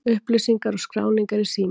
Upplýsingar og skráning er í síma.